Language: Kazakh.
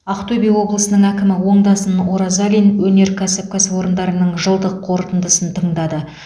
ақтөбе облысының әкімі оңдасын оразалин өнеркәсіп кәсіпорындарының жылдық қорытындысын тыңдады